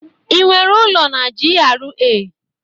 Ị nwere ụlọ na GRA?